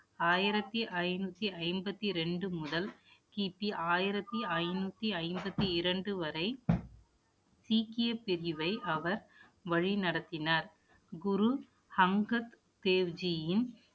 ஆயிரத்தி ஐநூத்தி ஐம்பத்தி ரெண்டு முதல், கிபி ஆயிரத்தி ஐநூத்தி ஐம்பத்தி இரண்டு வரை சீக்கிய பிரிவை அவர் வழிநடத்தினார் குரு அங்கத் தேவ்ஜியின்